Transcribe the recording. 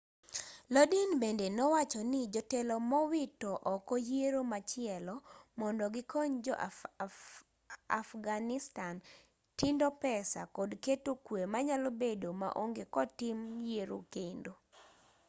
lodin bende nowacho ni jotelo nowito oko yiero machielo mondo gikony jo afghanistan tindo pesa kod keto kwe manyalo bedo maonge kotim yiero kendo